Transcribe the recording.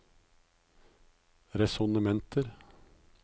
resonnementer